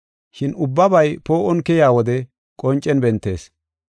Shin ubbabay poo7on keyiya wode qoncen bentees.